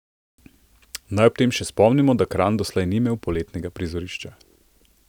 Naj ob tem še spomnimo, da Kranj doslej ni imel poletnega prizorišča.